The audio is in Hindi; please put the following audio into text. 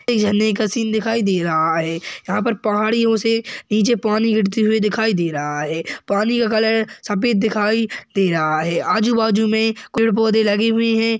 झरने का सीन दिखाई दे रहा है यहाँ पर पहाड़ियों से नीचे पानी गिरते हुए दिखाई दे रहा है पानी का कलर सफेद दिखाई दे रहा है आजू-बाजू में कुछ पौधे लगे हुए है।